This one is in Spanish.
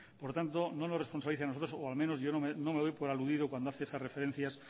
por tanto no nos responsabilice a nosotros o al menos yo no me doy por aludido cuando hace esas referencias